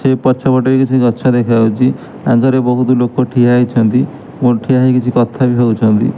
ସେଇ ପଛପଟେ ବି କିଛି ଗଛ ଦେଖାହୋଉଛି ଆଗରେ ବହୁତ ଲୋକ ଠିଆ ହେଇଛନ୍ତି ଓ ଠିଆ ହେଇକି କିଛି କଥା ବି ହୋଉଛନ୍ତି।